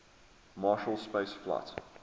marshall space flight